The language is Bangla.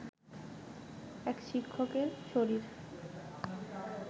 এক শিক্ষকের শরীর